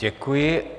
Děkuji.